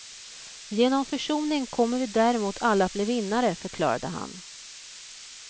Genom försoning kommer vi däremot alla att bli vinnare, förklarade han.